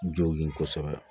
Jɔw ye kosɛbɛ